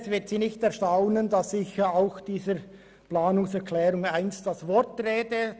Es wird Sie nicht erstaunen, dass ich der Planungserklärung 1 das Wort rede.